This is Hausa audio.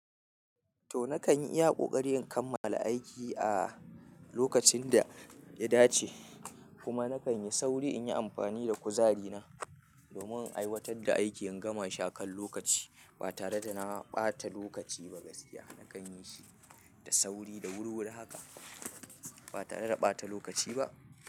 To nakan iya ƙoƙari in kammala aiki a lokacin da ya dace kuma nakan yi sauri in yi amfani da kuzari na domin in aiwatar da aikin gama shi akan lokaci ba tare da na ɓata lokaci ba gaskiya nakan yi shi da sauri da wuri-wuri haka ba tare da ɓata lokaci ba.